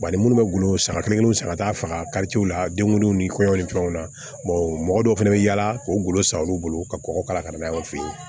ni minnu bɛ golo sanga kelen kelenninw san ka taa faga karice la denw ni kɔɲɔ ni fɛnw na mɔgɔ dɔw fana bɛ yaala o golo san olu bolo ka kɔgɔ kala ka na n'a ye